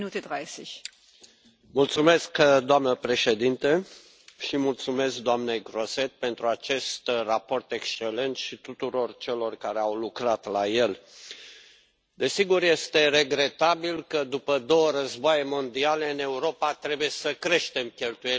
Doamnă președintă, îi mulțumesc doamnei Grossetête pentru acest raport excelent și tuturor celor care au lucrat la el. Desigur, este regretabil că, după două războaie mondiale, în Europa trebuie să creștem cheltuielile pentru industria de apărare,